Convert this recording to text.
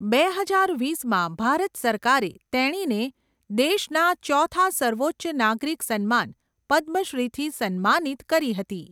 બે હજાર વીસમાં, ભારત સરકારે તેણીને દેશના ચોથા સર્વોચ્ચ નાગરિક સન્માન, પદ્મ શ્રીથી સન્માનિત કરી હતી.